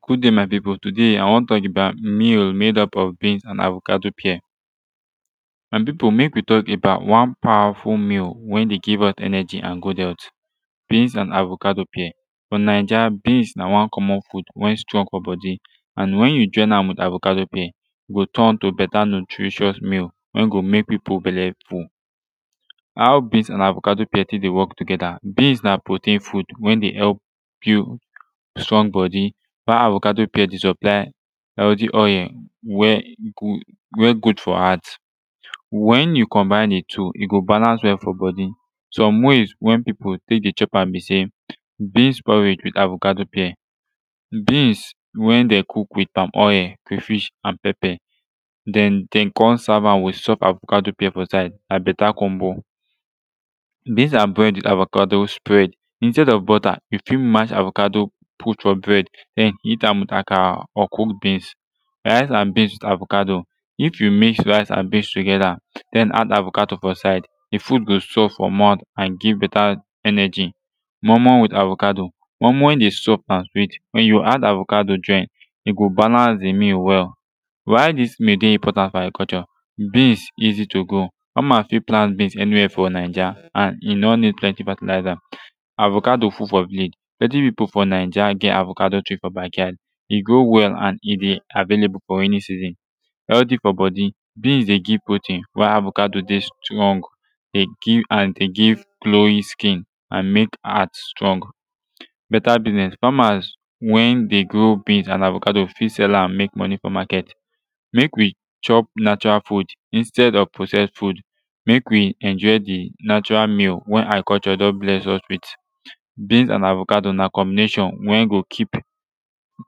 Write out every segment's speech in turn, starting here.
good dai my pipu todai i wan tok about meal made up of beans and avocado pear my pipu mek wi tok about one powerful meal wey dey give us energy and good health beans and avocado pear fo naija beans na one comon food wey strong fo bodi and wen yu join am wit avocado pear e go turn to beta nutritious meal wey go mek pipu belle full how beans and avocado pear tek dey wok togeta beans na protein food wen dey help build strong bodi while avocado pear dey supply healthy oil wey go wey good fo heart wen yu combine de two e go balance well fo bodi som ways wey pipu tek dey chop am bi sey beans porridge wit avocado pear beans wen dey cook wit palmoil crayfish and pepper den den dem com serve am wit soft avocado pear fo side na beta combo beans and bread avocado spread instead of butter yu fit mash avocado put fo bread den eat am wit akara or cooked beans rice and beans wit avocado if yu mix rice and beans togeta den add avocado fo side de food go soft fo mouth and give beta energy moi moi wit avocado moi moi de soft and sweet wen yu add avocado join e go balance de meal well why dis meal dey important fo agriculture beans easy to grow fama fit plant beans aniwehere fo naija and e no nid plenti fertilizer avocado full fo village plenti pipu fo naija get avocado tree fo bakyard e go well an e de available fo ani season healthy fo bodi beans dey give protein while avocado dey strong dey give and dey give glowing skin and mek heart strong beta biznez famas wen dey grow beans and avocado fit sell am mek moni frum maket mek wi chop natural food instead of processed food mek wi enjoy de natural meal wen agriculture don bless us wit beans and avocado na combination wen go kip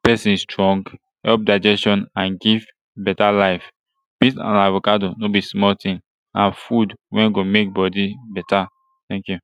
pesin strong help digestion and give beta life beans and avocado no bi small tin na food wen go mek bodi beta teink yu